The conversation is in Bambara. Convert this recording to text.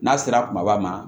N'a sera kumaba ma